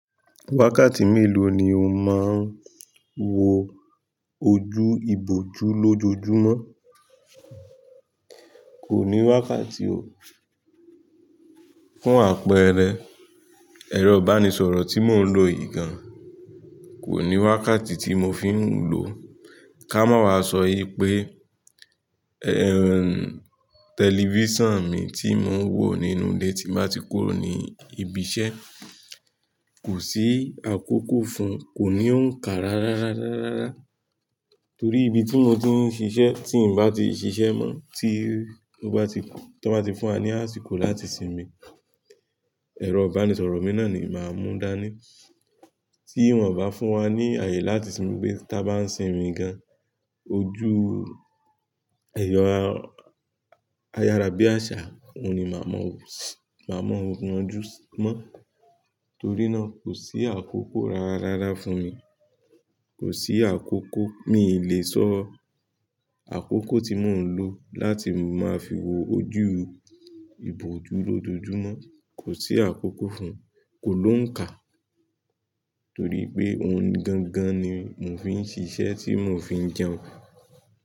Wákàtí mélòó ni o máa ń wo ojú ìbòjú lójoojúmọ́? Kò ní wákàtí o. Fún àpẹẹrẹ, ẹ̀rọ ìbánisọ̀rọ̀ tí mò ń lò yìí gan, kò ní wákàtí tí mo fi ń lò ó. Ká mọ̀ wá sọ yí pé, ẹ̀ ń, tẹlifíṣàn mi tí mò ń wò nínú ilé tí bá ti kúrò ní ibi iṣẹ́, kò sí àkókò fún un, kò ní òǹkà rárá, rárá, rárá. Torí ibi tí mo ti ń ṣiṣẹ́ tí ń bá ti ṣiṣẹ́ mọ́, tí ó bá ti, tí wọ́n bá ti fún wa ní àsìkò láti sinmi, ẹ̀rọ ìbánisọ̀rọ̀ mi náà ni màá mú dání. Tí wọ́n ò bá fún wa ní àyè láti sinmi pé táa bá ń sinmi gan, ojú, ẹ̀yọ a-ayárábíàṣá òun ni màá mọ̀, màá mọ̀ ọ̀ún ojú mọ́. Torí náà kò sí àkókò rárá fún mi. Kò sí àkókò, mi le sọ àkókò tí mò ń lò láti máa fi wo ojú ìbòjú lójoojúmọ́. Kò sí àkókò fún ùn, kò ló ń kà. Torí pé ohun gangan ni mò ń fi ń ṣiṣẹ́ tí mò ń fi ń jẹun.